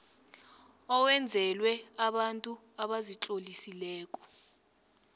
owenzelwe abantu abazitlolisileko